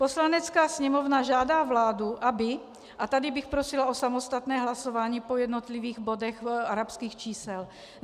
Poslanecká sněmovna žádá vládu, aby - a tady bych prosila o samostatné hlasování po jednotlivých bodech arabských čísel.